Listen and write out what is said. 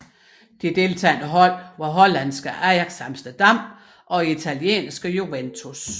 De deltagende hold var holandske Ajax Amsterdam og italienske Juventus